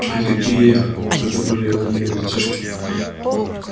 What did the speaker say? ай какие это были умные детишки